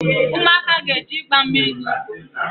Ụmụaka ga-eje ịgba mmiri n’ugbo